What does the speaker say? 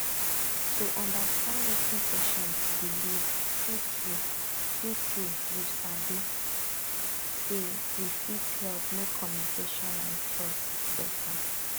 to understand wetin patient believe truetrue truetrue you sabi say e fit help make communication and trust better